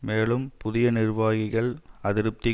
மேலும் புதிய நிர்வாகிகள் அதிருப்தி